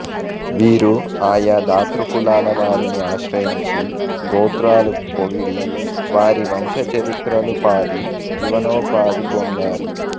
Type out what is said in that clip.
వీరు ఆయా దాతృకులాల వారిని ఆశ్రయించి గోత్రాలు పొగడి వారి వంశ చరిత్రలు పాది జీవనోపాధి పొందేవారు